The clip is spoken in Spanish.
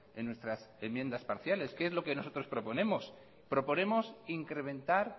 en nuestras enmiendas parciales que es lo que nosotros proponemos proponemos incrementar